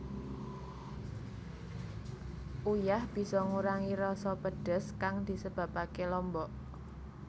Uyah bisa ngurangi rasa pedhes kang disebabaké lombok